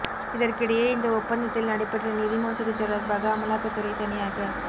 இதற்கிடையே இந்த ஒப்பந்தத்தில் நடைபெற்ற நிதி மோசடி தொடர்பாக அமலாக்கத்துறை தனியாக